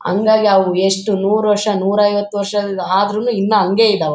ಹಾಂಗಾಗಿ ಅವು ಎಷ್ಟು ನೂರು ವರ್ಷ ನೂರು ಐವತು ವರ್ಷ ಆದ್ರೂನು ಇನ್ನ ಹಂಗೆ ಇದಾವೆ .